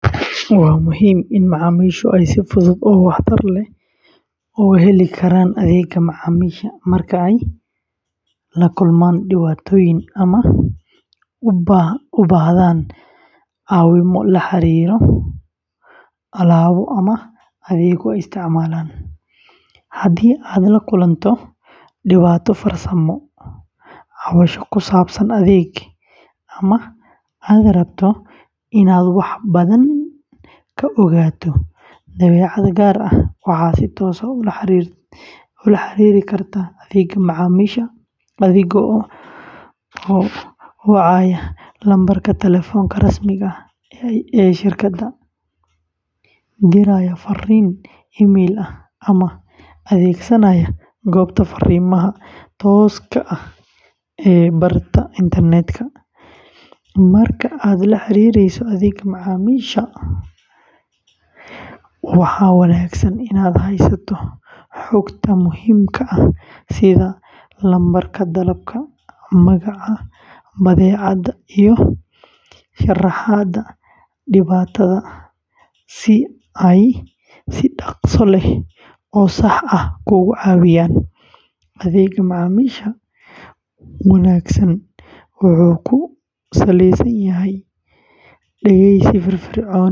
Waa muhiim in macaamiishu ay si fudud oo waxtar leh u heli karaan adeegga macaamiisha marka ay la kulmaan dhibaatooyin ama u baahdaan caawimo la xiriirta alaabo ama adeeg ay isticmaalaan. Haddii aad la kulanto dhibaato farsamo, cabasho ku saabsan adeeg, ama aad rabto inaad wax badan ka ogaato badeecad gaar ah, waxaad si toos ah ula xiriiri kartaa adeegga macaamiisha adiga oo wacaya lambarka taleefanka rasmiga ah ee shirkadda, diraya farriin emayl ah, ama adeegsanaya goobta fariimaha tooska ah ee barta internetka. Marka aad la xiriireyso adeegga macaamiisha, waxaa wanaagsan inaad haysato xogta muhiimka ah sida lambarka dalabka, magaca badeecadda, iyo sharaxaadda dhibaatada si ay si dhakhso leh oo sax ah kuugu caawiyaan. Adeegga macaamiisha wanaagsan wuxuu ku salaysan yahay dhegeysi firfircoon.